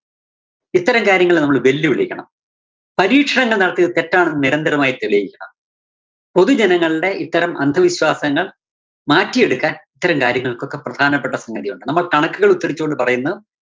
ഇത്തരം കാര്യങ്ങളെ നമ്മള് വെല്ലുവിളിക്കണം. പരീക്ഷണങ്ങള്‍ നടത്തിയത് തെറ്റാണെന്ന് നിരന്തരമായി തെളിയിക്കണം. പൊതുജനങ്ങളുടെ ഇത്തരം അന്ധവിശ്വാസങ്ങള്‍ മാറ്റിയെടുക്കാന്‍ ഇത്തരം കാര്യങ്ങള്‍ക്കൊക്കെ പ്രധാനപ്പെട്ട സംഗതിയൊണ്ട്. നമ്മള്‍ കണക്കുകള്‍ ഉത്തരിച്ചുകൊണ്ട് പറയുന്നത്